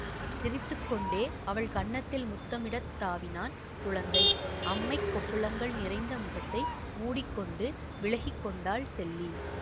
சிரித்து கொண்டே அவள் கன்னத்தில் முத்தமிடத் தாவினான் குழந்தை அம்மைக் கொப்புளங்கள் நிறைந்த முகத்தை மூடி கொண்டு விலகிக்கொண்டாள் செல்லி